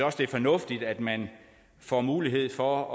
også det er fornuftigt at man får mulighed for at